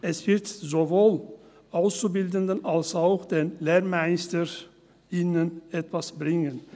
Es wird sowohl Auszubildenden als auch den LehrmeisterInnen etwas bringen.